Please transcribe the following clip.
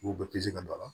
U bɛɛ bɛ se ka dɔ la